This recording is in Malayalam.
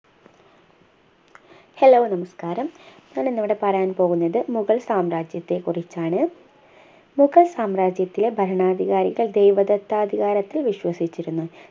hello നമസ്കാരം ഞാൻ ഇന്നിവിടെ പറയാൻ പോകുന്നത് മുഗൾ സാമ്രാജ്യത്തെ കുറിച്ചാണ് മുഗൾ സാമ്രാജ്യത്തിലെ ഭരണാധികാരികൾ ദൈവദത്താധികാരത്തിൽ വിശ്വസിച്ചിരുന്നു